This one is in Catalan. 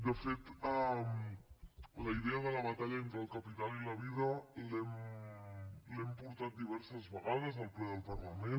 de fet la idea de la batalla entre el capital i la vida l’hem portat diverses vegades al ple del parlament